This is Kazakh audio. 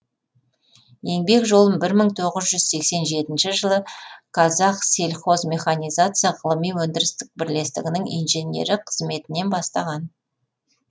еңбек жолын бір мың тоғыз жүз сексен жетінші жылы қазақсельхозмеханизация ғылыми өндірістік бірлестігінің инженері қызметінен бастаған